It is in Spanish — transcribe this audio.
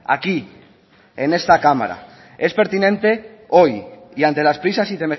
aquí en este cámara es pertinente hoy y ante las prisas y